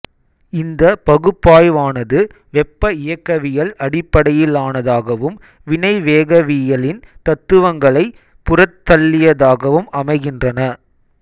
இந்த பகுப்பாய்வானது வெப்ப இயக்கவியல் அடிப்பையிலானதாகவும் வினைவேகவியலின் தத்துவங்களை புறந்தள்ளியதாகவும் அமைகின்றன